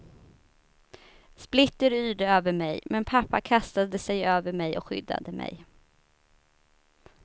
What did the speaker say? Splitter yrde över mig, men pappa kastade sig över mig och skyddade mig.